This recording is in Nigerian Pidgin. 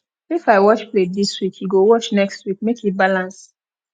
if i wash plate dis week you go wash next neek make e balance